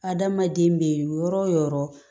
Adamaden bɛ yɔrɔ wo yɔrɔ